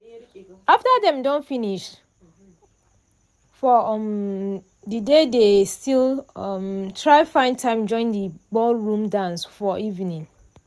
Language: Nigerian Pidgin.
after dem don finish for um de day dey still um try find time join de ballroom dance for evening.